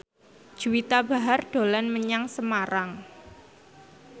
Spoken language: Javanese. Juwita Bahar dolan menyang Semarang